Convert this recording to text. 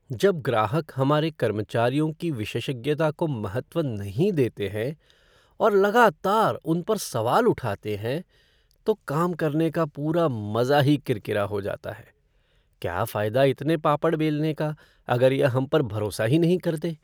जब ग्राहक हमारे कर्मचारियों की विशेषज्ञता को महत्व नहीं देते हैं और लगातार उन पर सवाल उठाते हैं तो काम करने का पूरा मज़ा ही किरकिरा हो जाता है। क्या फ़ायदा इतने पापड़ बेलने का अगर यह हम पर भरोसा ही नहीं करते।